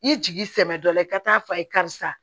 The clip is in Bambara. I jigi sɛbɛ dɔ la i ka taa f'a ye karisa